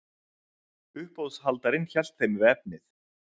Uppboðshaldarinn hélt þeim við efnið.